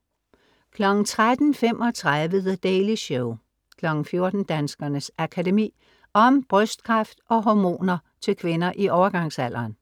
13:35 The Daily Show 14:00 Danskernes Akademi. Om brystkræft & Hormoner til kvinder i overgangsalderen.